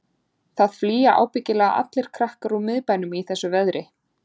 Það flýja ábyggilega allir krakkar úr miðbænum í þessu veðri.